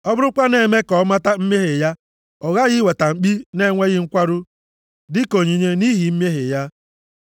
Ọ bụrụkwa na-eme ka ọ mata mmehie ya, ọ ghaghị iweta mkpi na-enweghị nkwarụ dịka onyinye nʼihi mmehie ya.